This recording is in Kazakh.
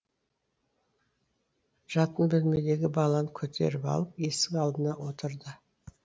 жатын бөлмедегі баланы көтеріп алып есік алдына отырды